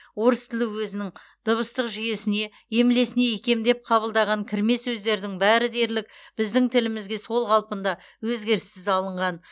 орыс тілі өзінің дыбыстық жүйесіне емлесіне икемдеп қабылдаған кірме сөздердің бәрі дерлік біздің тілімізге сол қалпында өзгеріссіз алынған